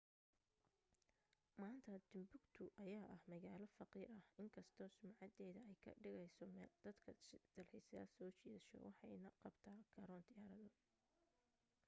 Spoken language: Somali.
maanta timbuktu ayaa ah magaalo faqiir ah inkastoo sumcadeeda ay ka dhigayso meel dadka dalxiiso soo jiidato waxay na qabtaa garoon diyaarado